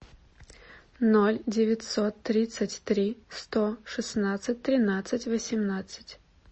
ноль девятьсот тридцать три сто шестнадцать тринадцать восемнадцать